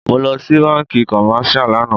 Mo lọ sí bánkì commercial lànà.